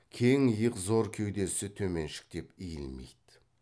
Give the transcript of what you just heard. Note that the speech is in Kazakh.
кең иық зор кеудесі төменшіктеп иілмейді